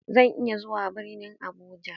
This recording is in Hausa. Zan iya zuwa birnin Abuja?